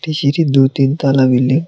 সিঁড়ির দু-তিন তালা বিল্ডিং ।